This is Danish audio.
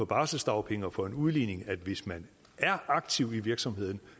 barselsdagpenge og for en udligning at hvis man er aktiv i virksomheden